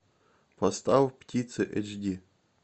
поставь птицы эйч ди